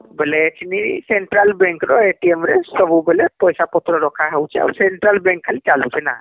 ବୋଇଲେ ଏଖିନି Central Bank ର ରେ ସବୁବେଲେ ପଇସା ପତ୍ର ରଖା ହଉଛିଆଉ Central Bank ଖାଲି ଚାଲୁଛେ ନା